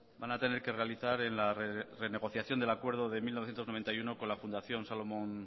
van a tener que realizar en la renegociación en el acuerdo de mil novecientos noventa y uno con la fundación solomon